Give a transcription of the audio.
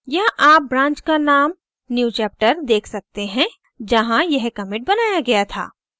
यहाँ आप branch का name newchapter देख सकते हैं जहाँ यह commit बनाया गया था